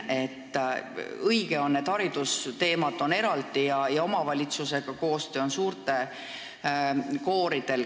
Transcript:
On õige, et haridusteemad on eraldi ja omavalitsusega koostöö on hea suurtel kooridel.